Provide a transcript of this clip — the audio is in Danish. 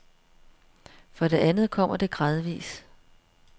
For det andet kommer det gradvis.